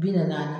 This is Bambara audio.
Bi naani naani